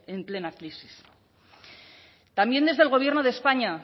en plena crisis también desde el gobierno de españa